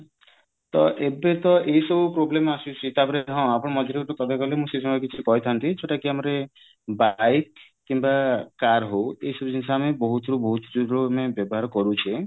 ଏବେ ତ ଏଇ ସବୁ problem ଆସୁଛି ତାପରେ ହଁ ଆପଣ ମଝିରେ ଯୋଉ ମୁଁ ସେଇ ସମୟରେ କିଛି କହିଥାନ୍ତି ଯୋଉଟାକି ଆମର bike କିମ୍ବା car ହଉ ଏଇ ସବୁ ଜିନିଷ ଆମେ ବହୁତ ରୁ ବହୁତ ଆମେ ବ୍ୟବହାର କରୁଛେ